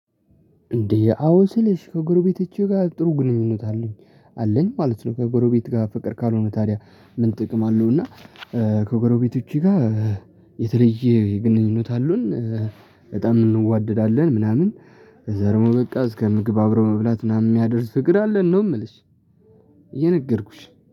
እንዴ አዎ ስልሽ ከጎረቤቶቼ ጋር ጥሩ ግንኙነት አለኝ አለኝ ማለት ነው። ከጎረቤት ጋር ፍቅር ካልሆነ ታዲያ ምን ጥቅም አለው እና? ከጎረቤቶቼ ጋር የተለየ የግንኙነት አሉን እንዋደዳለን ምናምን። ከዛ ደግሞ በቃ እስከ ምግብ አብረው መብላት ምናምን የሚያደርስ ፍቅር አለን ነው። ምልሽ እየነገርኩሽ